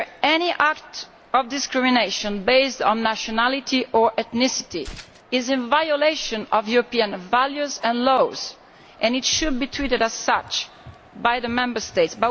Any act of discrimination based on nationality or ethnicity is in violation of European values and laws and it should be treated as such by the Member States.